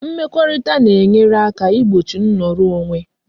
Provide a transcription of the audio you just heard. Mmekorita na e nyere aka igbochi nnoro onwe